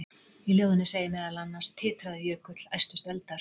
Í ljóðinu segir meðal annars: Titraði jökull, æstust eldar,